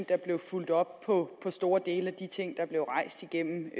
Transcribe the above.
der bliver fulgt op på store dele af de ting der blev rejst igennem